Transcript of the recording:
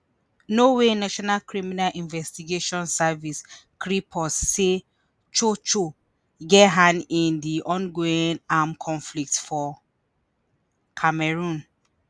norway national criminal investigation service kripos say cho cho get hand in di ongoing armed conflict for cameroon